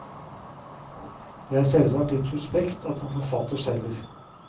Det er selvsagt litt suspekt at en forfatter selger.